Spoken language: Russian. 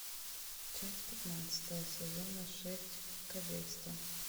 часть пятнадцатая сезона шесть кадетство